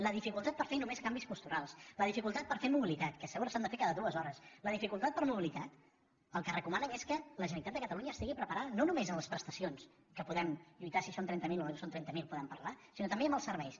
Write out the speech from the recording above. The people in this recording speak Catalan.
la dificultat per fer només canvis posturals la dificultat per fer mobilitat que a sobre s’ha de fer cada dues hores el que recomanen és que la generalitat de catalunya estigui preparada no només en les presta cions que podem lluitar si són trenta mil o no són trenta mil podem parlar sinó també en els serveis